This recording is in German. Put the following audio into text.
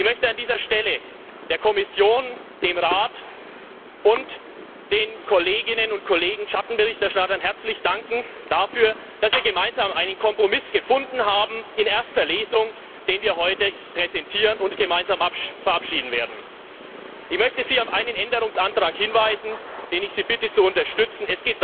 Ich möchte an dieser Stelle der Kommission, dem Rat und den Kolleginnen und Kollegen Schattenberichterstattern herzlich dafür danken, dass wir in erster Lesung gemeinsam einen Kompromiss gefunden haben, den wir heute präsentieren und gemeinsam verabschieden werden. Ich möchte Sie auf einen Änderungsantrag hinweisen, den ich Sie bitte, zu unterstützen